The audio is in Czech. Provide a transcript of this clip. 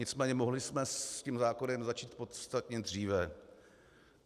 Nicméně mohli jsme s tím zákonem začít podstatně dříve.